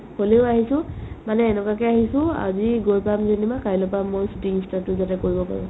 হ'লিও আহিছো মানে এনেকুৱাকে আহিছো আজি গৈ পাম যেনিবা কাইলেৰ পৰা মই shooting start টো যাতে কৰিব পাৰো